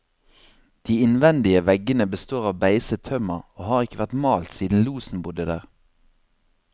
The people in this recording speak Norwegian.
De innvendige veggene består av beiset tømmer, og har ikke vært malt siden losen bodde der.